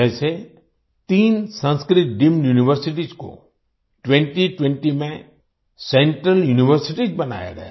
जैसे तीन Sanskrit deemed universities को 2020 में सेंट्रल यूनिवर्सिटीज बनाया गया